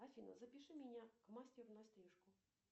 афина запиши меня к мастеру на стрижку